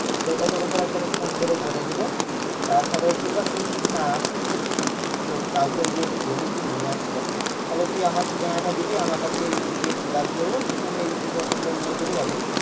সেটা তোকে ধর আমি তাহলে phone করে বলে দেবো। আহ তাহলে কিংবা তুই যদি না আসিস কাউকে গিয়ে তুই বলিস যে নিয়ে আসতে তাহলে তুই আমার ঠিকানাটা দিবি আমার কাছ থেকে চলে আসবে ও তখন আমি এদিক থেকে ওকে তাহলে নিয়ে চলে যাবো